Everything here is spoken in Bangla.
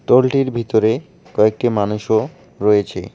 দলটির ভিতরে কয়েকটি মানুষও রয়েছে।